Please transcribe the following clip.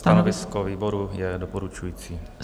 Stanovisko výboru je doporučující.